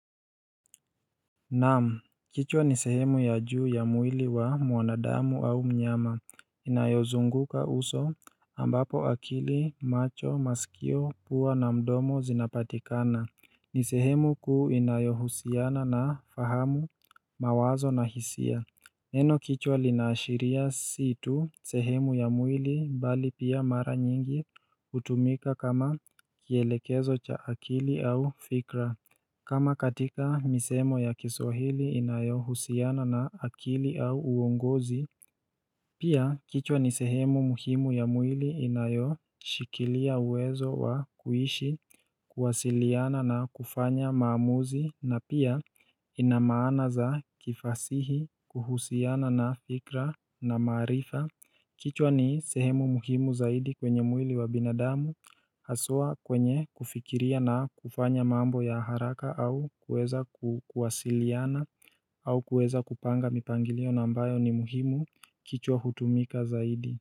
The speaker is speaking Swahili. Naam, kichwa ni sehemu ya juu ya mwili wa mwanadamu au mnyama Inayozunguka uso ambapo akili macho masikio pua na mdomo zinapatikana ni sehemu kuu inayohusiana na fahamu mawazo na hisia Neno kichwa linaashiria si tu sehemu ya mwili bali pia mara nyingi hutumika kama kielekezo cha akili au fikra kama katika misemo ya kiswahili inayo husiana na akili au uongozi, pia kichwa ni sehemu muhimu ya mwili inayoshikilia uwezo wa kuishi, kuwasiliana na kufanya maamuzi na pia inamaana za kifasihi kuhusiana na fikra na maarifa kichwa ni sehemu muhimu zaidi kwenye mwili wa binadamu Haswa kwenye kufikiria na kufanya mambo ya haraka au kuweza kuwasiliana au kuweza kupanga mipangilio na ambayo ni muhimu kichwa hutumika zaidi.